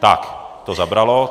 Tak, to zabralo.